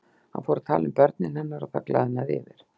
Hann fór að tala um börnin hennar og það glaðnaði yfir